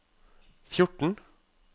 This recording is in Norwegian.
fjorten